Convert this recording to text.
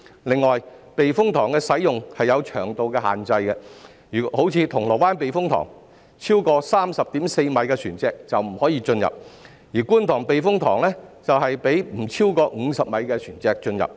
另外，避風塘的使用有長度的限制，如銅鑼灣避風塘，超過 30.4 米的船隻就不可以進入，而觀塘避風塘則讓不超過50米的船隻進入。